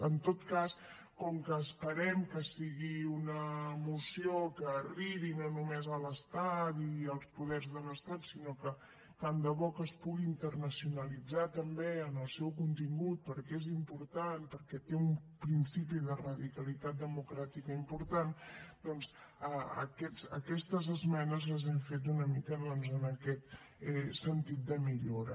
en tot cas com que esperem que sigui una moció que arribi no només a l’estat i als poders de l’estat sinó que tant de bo que es pugui internacionalitzar també en el seu contingut perquè és important perquè té un principi de radicalitat democràtica important doncs aquestes esmenes les hem fet una mica doncs en aquest sentit de millora